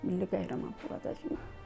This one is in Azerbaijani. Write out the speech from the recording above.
Milli qəhrəmanlığa qədər.